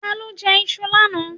Ta ló jẹ iṣu lánàá?